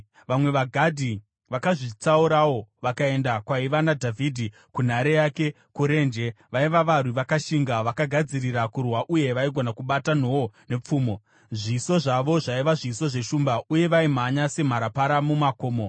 Vamwe vaGadhi vakazvitsaurawo vakaenda kwaiva naDhavhidhi kunhare yake kurenje. Vaiva varwi vakashinga, vakagadzirira kurwa uye vaigona kubata nhoo nepfumo. Zviso zvavo zvaiva zviso zveshumba, uye vaimhanya semharapara mumakomo.